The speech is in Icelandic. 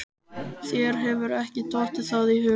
Þér hefur ekki dottið það í hug?